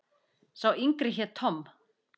Sá yngri hét Tom.